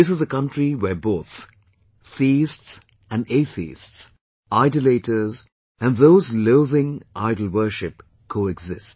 This is a country where both theists and atheists ; idolaters and those loathing idolworship coexist